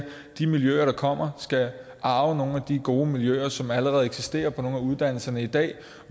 de miljøer der kommer skal arve nogle af de gode miljøer som allerede eksisterer på nogle af uddannelserne i dag